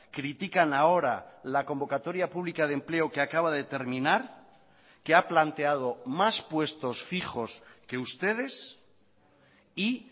critican ahora la convocatoria pública de empleo que acaba de terminar que ha planteado más puestos fijos que ustedes y